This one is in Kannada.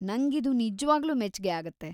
ನಂಗಿದು ನಿಜ್ವಾಗ್ಲೂ ಮೆಚ್ಗೆ ಆಗತ್ತೆ.